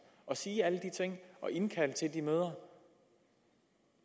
at sige alle de ting og indkalde til de møder